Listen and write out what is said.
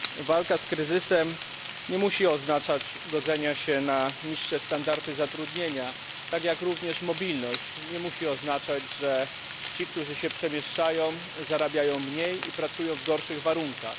Walka z kryzysem nie musi oznaczać godzenia się na niższe standardy zatrudnienia, tak jak również mobilność nie musi oznaczać, że ci, którzy się przemieszczają, zarabiają mniej i pracują w gorszych warunkach.